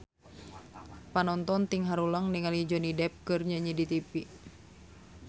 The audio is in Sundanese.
Panonton ting haruleng ningali Johnny Depp keur nyanyi di tipi